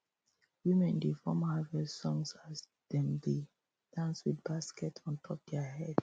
women dey form harvest songs as dem dey dance with baskets ontop their heads